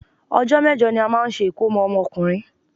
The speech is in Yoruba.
Ọjọ́ mẹ́jọ ní a máa ń ṣe ìkómọ ọmọkùnrin.